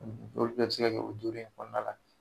olu bɛɛ bɛ se ka kɛ o duuru in kɔnɔna la.